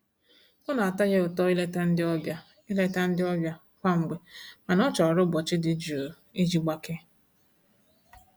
Ọ na-atọ ya ụtọ ileta ndị ọbịa ileta ndị ọbịa kwa mgbe mana ọ chọrọ ụbọchị dị jụụ iji gbakee.